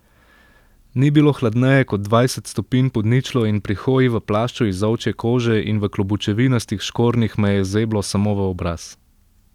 Ni bilo hladneje kot dvajset stopinj pod ničlo in pri hoji v plašču iz ovčje kože in v klobučevinastih škornjih me je zeblo samo v obraz.